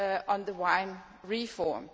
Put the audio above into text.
on the wine reform.